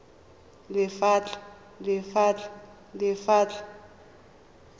lephatla